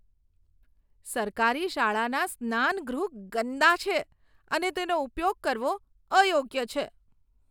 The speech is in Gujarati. સરકારી શાળાના સ્નાનગૃહ ગંદા છે અને તેનો ઉપયોગ કરવો અયોગ્ય છે.